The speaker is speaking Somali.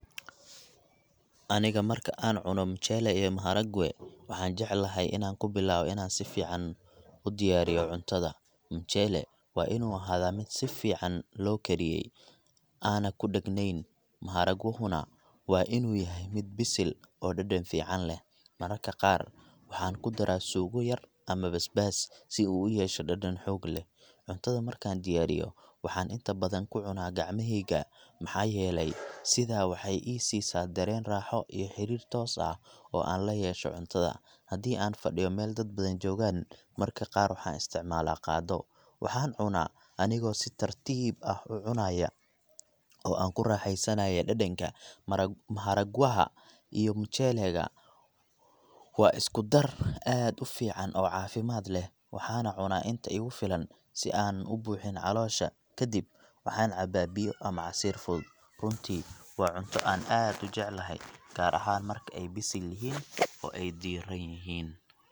Aniga marka aan cuno mchele iyo maharagwe, waxaan jecelahay inaan ku bilaabo inaan si fiican u diyairiyo cuntada. Mchele waa inuu ahaadaa mid si fiican loo kariyey, aana ku dhegganayn, maharagwahuna waa inuu yahay mid bisil oo dhadhan fiican leh. Mararka qaar waxaan ku daraa suugo yar ama basbaas, si uu u yeesho dhadhan xoog leh. Cuntada markaan diyaariyo, waxaan inta badan ku cunaa gacmahayga, maxaa yeelay sidaa waxay ii siisaa dareen raaxo iyo xiriir toos ah oo aan la yeesho cuntada. Haddii aan fadhiyo meel dad badan joogaan, marka qaar waxaan isticmaalaa qaaddo. Waxaan cunaa anigoo si tartiib ah u cunaaya , oo aan ku raaxaysanayo dhadhanka. Maharagwa.., Maharagwaha iyo mchele ga waa isku-dar aad u fiican oo caafimaad leh, waxaana cunaa inta igu filan, si aanan u buuxin caloosha. Ka dib, waxaan cabaa biyo ama casiir fudud. Runtii, waa cunto aan aad u jeclahay, gaar ahaan marka ay bisil yihiin oo diiran yihiin.